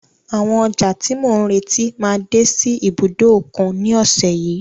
Àwọn ọjà tí mò ń retí máa dé sí ibùdó òkun ní ọ̀sẹ̀ yìí.